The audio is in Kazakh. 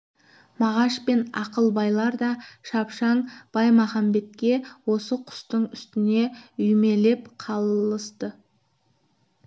мағаш пен ақылбайлар да шапшаң баймағамбетте осы құстың үстіне үймелеп қалысты